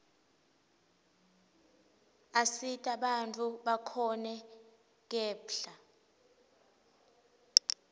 asita bantfu bakhone kephla